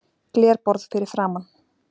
Glerborð fyrir framan.